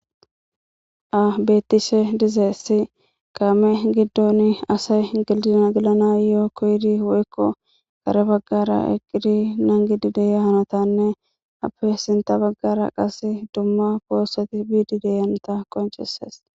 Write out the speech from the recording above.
Abetishe dizeessi kaame giddon asay gildina gilana yoo koydi woykko kare baggara eqqidi nangidi deya hanotanne appe sinta baggara qase dumma poossati biidi deyanta qoncheses